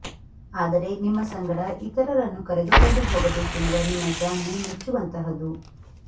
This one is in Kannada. ಆದರೆ ನಿಮ್ಮ ಸಂಗಡ ಇತರರನ್ನು ಕರೆದುಕೊಂಡು ಹೋಗಬೇಕೆನ್ನುವ ನಿಮ್ಮ ಜಾಣ್ಮೆ ಮೆಚ್ಚುವಂತಹದು